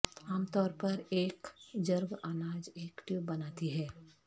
عام طور پر ایک کے جرگ اناج ایک ٹیوب بناتی ہے